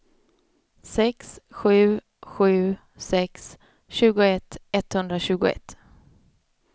sex sju sju sex tjugoett etthundratjugoett